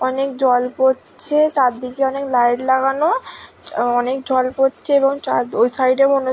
অনেক জল পড়ছে। চারদিকে অনেক লাইট লাগানো। অনেক জল পড়ছে এবং চার ওই সাইড -এ মনে--